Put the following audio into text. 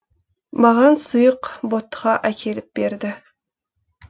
маған сұйық ботқа әкеліп берді